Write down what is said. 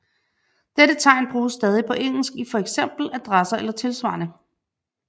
Dette tegn bruges stadig på engelsk i for eksempel adresser eller tilsvarende